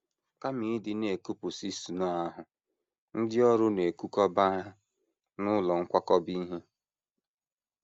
Kama ịdị na - ekupụsị snow ahụ, ndị ọrụ na - ekukọba ha n’ụlọ nkwakọba ihe.